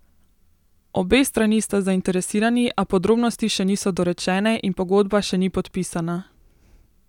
Obe strani sta zainteresirani, a podrobnosti še niso dorečene in pogodba še ni podpisana.